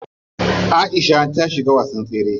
Aisha ta shiga wasan tsere.